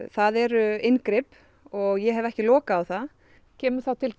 það eru inngrip og ég hef ekki lokað á það kemur þá til